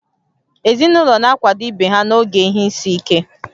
Ezinụlọ na-akwado ibe ha n'oge ihe isi ike